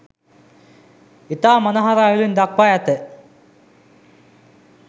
ඉතා මනහර අයුරින් දක්වා ඇත.